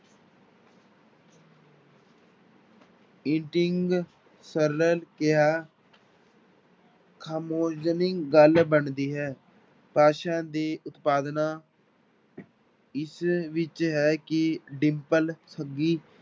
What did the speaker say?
ਕਿਹਾ ਖਾਮੋਜਣੀ ਗੱਲ ਬਣਦੀ ਹੈ ਭਾਸ਼ਾ ਦੇ ਉਤਪਾਦਨਾਂ ਇਸ ਵਿੱਚ ਰਹਿ ਕੇ ਡਿੰਪਲ ਸੱਗੀ